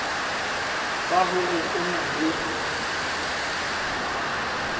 ba hore o na le